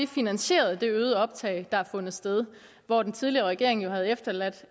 finansieret det øgede optag der har fundet sted og at den tidligere regering jo havde efterladt